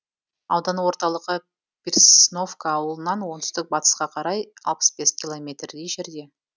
аудан орталығы пресновка ауылынан оңтүстік батысқа қарай алпыс бес километрдей жерде